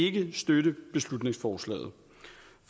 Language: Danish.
ikke støtte beslutningsforslaget